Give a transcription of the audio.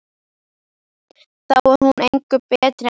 Þá er hún engu betri en þau.